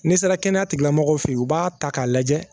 N'i sera kɛnɛya tigi la mɔgɔ fɛ u b'a ta k'a lajɛ